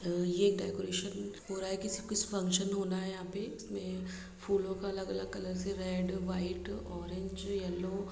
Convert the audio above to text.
यह डेकोरेशन हो रहा है यहाँ पे कोई फंक्शन होना है फूलों के अलग-अलग रेड व्हाइट ऑरेंज येलो ---